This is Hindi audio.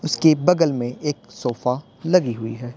उसके बगल में एक सोफा लगी हुई है।